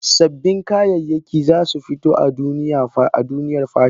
Sabbin kayayyaki za su fito a cikin duniyar fashion.